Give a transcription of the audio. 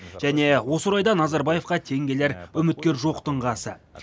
және осы орайда назарбаевқа тең келер үміткер жоқтың қасы